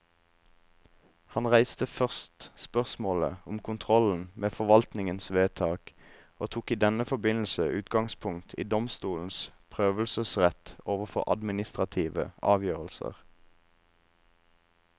Han reiste først spørsmålet om kontrollen med forvaltningens vedtak, og tok i denne forbindelse utgangspunkt i domstolenes prøvelsesrett overfor administrative avgjørelser.